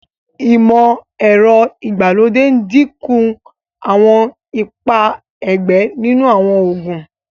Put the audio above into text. imọ-ẹrọ ìgbàlódé n dínkù Àwọn ipá ẹgbẹ nínú àwọn oògùn.